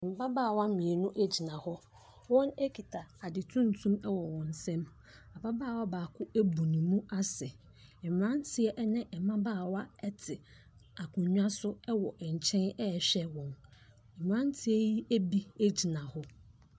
Mmabaawa mmienu gyina hɔ, wɔkita ade tuntum wɔ wɔn nsam, ababaawa baako abu ne mu ase, mmerante ne mmabaawa te akonnwa so wɔ nkyɛn ɛrehwɛ wɔn, mmeranteɛ bi gyina hɔ.